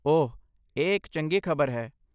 ਓਹ, ਇਹ ਇੱਕ ਚੰਗੀ ਖ਼ਬਰ ਹੈ।